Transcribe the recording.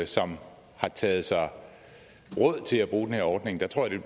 som har taget sig råd til at bruge den her ordning der tror jeg